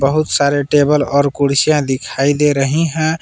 बहुत सारे टेबल और कुर्सियां दिखाई दे रही हैं।